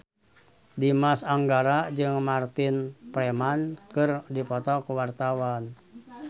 Dimas Anggara jeung Martin Freeman keur dipoto ku wartawan